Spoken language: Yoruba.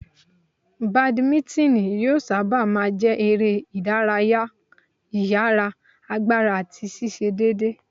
Bàdímínítìnì yóò sábà má a jẹ́ eré ìdárayá ìyára, agbára àti ṣíṣe déédéé.